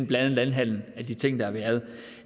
blandet landhandel af de ting der har været